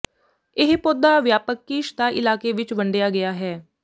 ਇਹ ਪੌਦਾ ਵਿਆਪਕ ਕੀਸ਼ ਦਾ ਇਲਾਕੇ ਵਿਚ ਵੰਡਿਆ ਗਿਆ ਹੈ